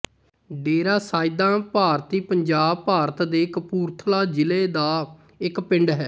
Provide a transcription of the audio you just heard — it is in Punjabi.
ਡੇਰਾ ਸੈਯਦਾਂ ਭਾਰਤੀ ਪੰਜਾਬ ਭਾਰਤ ਦੇ ਕਪੂਰਥਲਾ ਜ਼ਿਲ੍ਹਾ ਦਾ ਇੱਕ ਪਿੰਡ ਹੈ